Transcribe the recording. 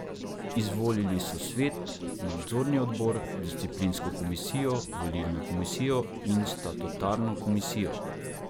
Izvolili so svet, nadzorni odbor, disciplinsko komisijo, volilno komisijo in statutarno komisijo.